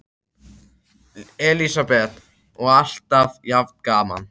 Elísabet: Og alltaf jafn gaman?